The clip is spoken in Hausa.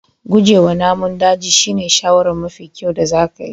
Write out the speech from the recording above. Guje wa namun daji shine shawarar mafi kyau da zaka yi.